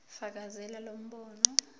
fakazela lo mbono